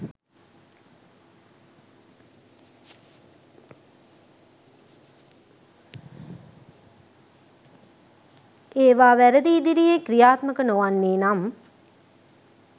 ඒවා වැරදි ඉදිරියේ ක්‍රියාත්මක නොවන්නේ නම්